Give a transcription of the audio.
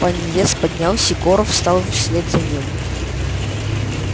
пониетс поднялся и горов встал вслед за ним